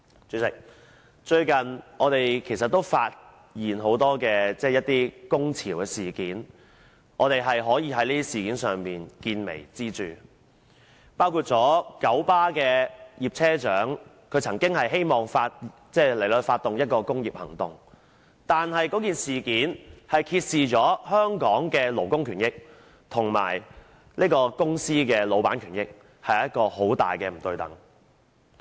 主席，最近，我們看見很多工潮事件，而我們可以從這些事件見微知著，包括九龍巴士有限公司的葉車長曾經希望發動工業行動，這事件揭示了香港的勞工權益及公司的老闆權益兩者在很大程度上並不對等。